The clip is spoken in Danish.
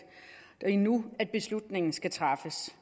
det er nu beslutningen skal træffes